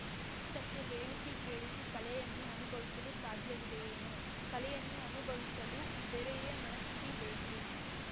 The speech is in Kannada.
ಅಷ್ಟಕ್ಕೂ ಹೇಳಿಸಿಕೇಳಿಸಿ ಕಲೆಯನ್ನು ಅನುಭವಿಸಲು ಸಾಧ್ಯವಿದೆಯೇನು ಕಲೆಯನ್ನು ಅನುಭವಿಸಲು ಬೇರೆಯೇ ಮನಸ್ಥಿತಿ ಬೇಕು